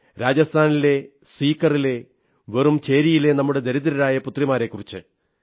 രാജസ്ഥാനിലെ സീകറിലെ വെറും ചേരിയിലെ നമ്മുടെ ദരിദ്രരായ പുത്രിമാരെക്കുറിച്ച്